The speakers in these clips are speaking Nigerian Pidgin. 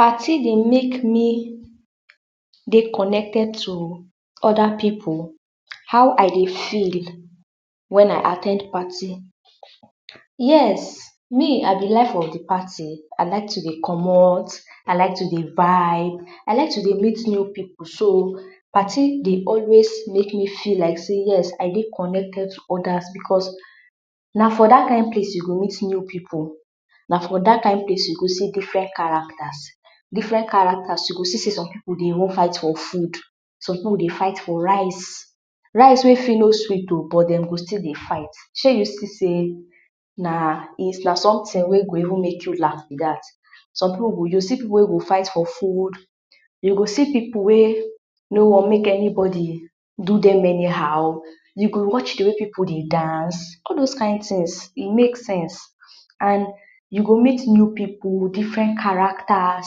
Parti dey make me dey conected to oda pipu, how I dey feel wen I a ten d parti? Yes! me, I be life of di party, I like to dey comot, I like to dey vibe, I like to dey meet new pipu so, parti dey always make me feel like sey yes, I dey conected to odas becos na for dat kind place you go meet new pipu, na for dat kind place you go see diferent karactas, diferent karactas, you go even see sey some pipu dey even fight for fud. Som pipu dye fight for rice, rice wey fit no sweet o but dem go stil dey fight. Shey you see sey na somtin wey go even make you laugh be dat, som pipu? You go see pipu wey go fight for fud, you go see pupu wey no want enibodi do dem eni how, you go watch di wey pipu dey dance, all dos kind tins, e make sense and you go meet new pipu, diferent karactas,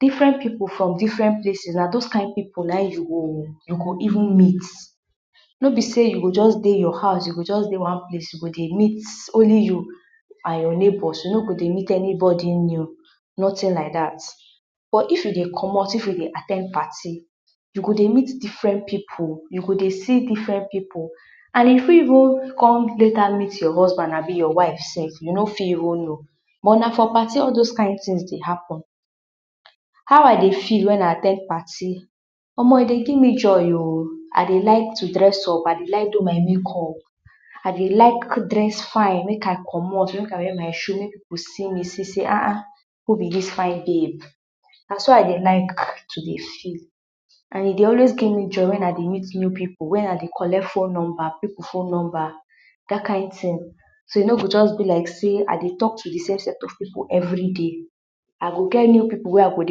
diferent pipu from diferent places, na dos kind pipu na in you go even meet, no be sey you go just dey your hous, you go just dey one place you go dey meet only ypu and your nebors you no go dey meet enobodi new, notin like dat. But if you dey comot, if you dey at ten d parti, you go dey meet diferent pipu, you go dey see diferent pipu and you fit even come later meet your husband abi your wife sef you no fit even no. but na for parti all dos kind tins dey happen. Hiow I dey feel wen I a ten d parti? Omo e dey give me joy o, I dey like dress up, I dey like do my make up, I dey like dress fine make I comot make I wear my shu make ppu see me, see sey, a’a, who be dis fine babe? Na so idey like to dey feel and e dey always give me joy wen I dey meet new pipu wen I dey collect fone nomba, pipu fone nomba, dat kind tin so e no go just be like sey I dey talk to di same set of pipu everi day, I go get new pipu wey I go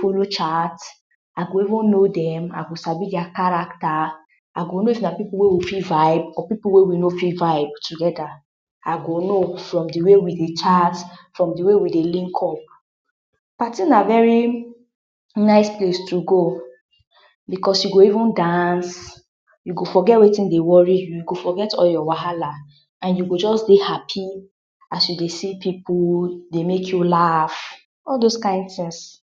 folo chat, I go evn no dem, I go sabi dia karacta, I go no if na pipu wey we fit vibe or pipu wey we no fit vibe togeda. I go no from di way we dey chat, from di way we dey link up. Parti na veri nice palce to go, becos you go even dance, you go forget wetin dey wori you, you go forget all your wahala and you go just dey hapi as you dey see pipu dey make you laugh, all dos kind tins.